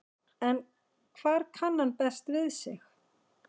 En hvar kann hann best við sig?